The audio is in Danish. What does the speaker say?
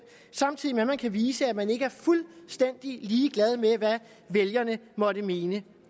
samtidig med at man kan vise at man ikke er fuldstændig ligeglad med hvad vælgerne måtte mene